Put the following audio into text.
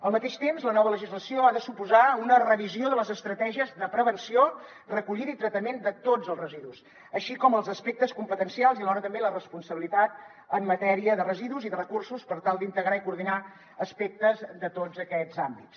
al mateix temps la nova legislació ha de suposar una revisió de les estratègies de prevenció recollida i tractament de tots els residus així com els aspectes competencials i alhora també la responsabilitat en matèria de residus i de recursos per tal d’integrar i coordinar aspectes de tots aquests àmbits